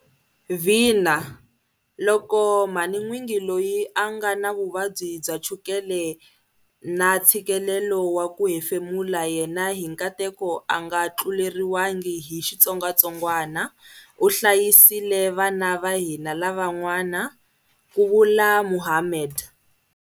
Vhina, loko mhanin'wingi loyi a nga na vuvabyi bya chukele na tshikelelo wa ku hefemula yena hi nkateko a nga tluleriwangi hi xitsongwatsongwana u hlayisile vana va hina lavan'wana, ku vula Mohammed.